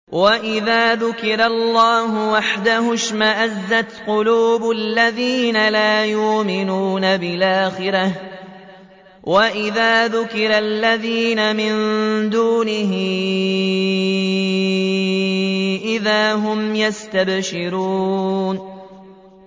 وَإِذَا ذُكِرَ اللَّهُ وَحْدَهُ اشْمَأَزَّتْ قُلُوبُ الَّذِينَ لَا يُؤْمِنُونَ بِالْآخِرَةِ ۖ وَإِذَا ذُكِرَ الَّذِينَ مِن دُونِهِ إِذَا هُمْ يَسْتَبْشِرُونَ